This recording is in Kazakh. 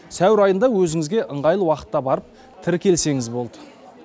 сәуір айында өзіңізге ыңғайлы уақытта барып тіркелсеңіз болды